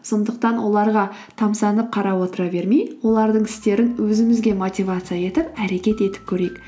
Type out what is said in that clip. сондықтан оларға тамсанып қарап отыра бермей олардың істерін өзімізге мотивация етіп әрекет етіп көрейік